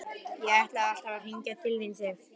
Ég ætlaði alltaf að hringja til þín, Sif.